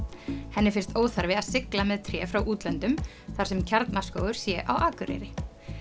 henni finnst óþarfi að sigla með tré frá útlöndum þar sem Kjarnaskógur sé á Akureyri